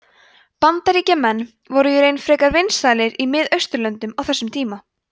bandaríkjamenn voru í raun frekar vinsælir í miðausturlöndum á þessum tíma